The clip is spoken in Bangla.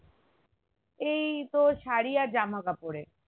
এই তো সারি আর জামা কাপড়ের